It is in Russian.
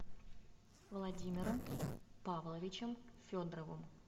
владимиром павловичем федоровым